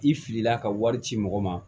I filila ka wari ci mɔgɔ ma